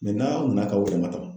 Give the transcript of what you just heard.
n'aw nana k'aw ɔrɔ damatɛmɛ.